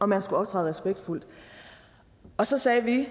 man skulle optræde respektfuldt og så sagde vi